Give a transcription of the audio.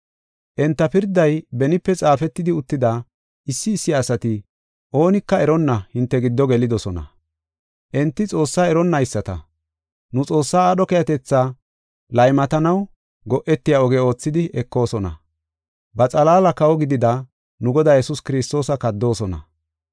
Enta pirday benipe xaafetidi uttida, issi issi asati oonika eronna hinte giddo gelidosona. Enti Xoossaa eronnayisata, nu Xoossaa aadho keehatetha laymatanaw go7etiya oge oothidi ekoosona. Ba xalaala kawo gidida, nu Godaa Yesuus Kiristoosa kaddoosona.